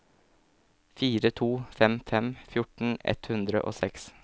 fire to fem fem fjorten ett hundre og seks